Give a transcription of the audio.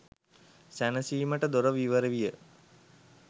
සැනසීමට දොර විවර විය.